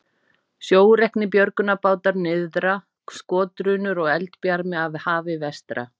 Sjóreknir björgunarbátar nyrðra, skotdrunur og eldbjarmi af hafi vestra.